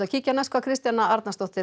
Kristjana Arnarsdóttir